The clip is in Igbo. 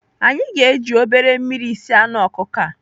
Anyị ga-eji obere mmiri sie anụ ọkụkọ a.